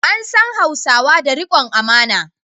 An san Hausawa da rikon amana.